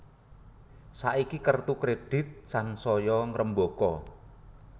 Saiki kertu kredit sansaya ngrembaka